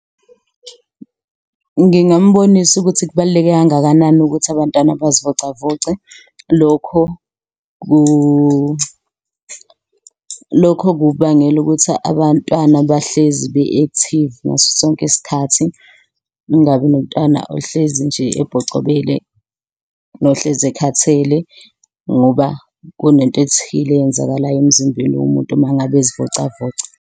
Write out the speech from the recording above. Ngingambonisa ukuthi kubaluleke kangakanani ukuthi abantwana bazivocavoce lokho ku lokho kubangela ukuthi abantwana bahlezi be-active ngaso sonke isikhathi kungabi nomntwana ohlezi nje ebhocobele nohlezi ekhathele ngoba kunento ethile eyenzakalayo emzimbeni womuntu uma ngabe ezivocavoca.